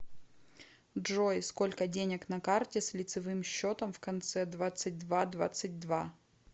джой сколько денег на карте с лицевым счетом в конце двадцать два двадцать два